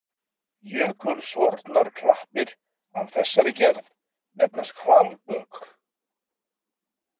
Jökulsorfnar klappir af þessari gerð nefnast hvalbök.